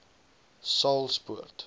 saulspoort